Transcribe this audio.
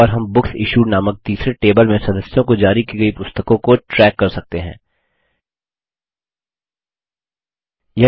और हम बुकसिश्यूड नामक तीसरे टेबल में सदस्यों को जारी की गयी पुस्तकों को ट्रैकपता लगाना कर सकते हैं